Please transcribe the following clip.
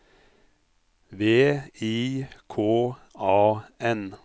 V I K A N